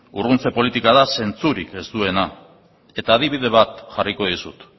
urruntze politika da zentzurik ez duena eta adibide bat jarriko dizut